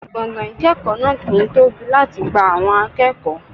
Gbọ̀ngàn ìkẹ́kọ̀ọ́ náà kì ń tóbi láti gba àwọn akẹ́kọ̀ọ́.